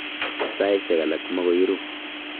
Saishek alak magoi ru